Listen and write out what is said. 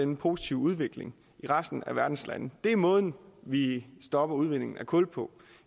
den positive udvikling i resten af verdens lande det er måden vi stopper udvindingen af kul på